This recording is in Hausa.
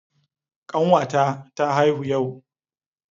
Kanwata ta haihu yau.